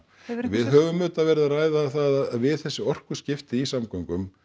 við höfum auðvitað verið að ræða það að við þessi orkuskipti í samgöngum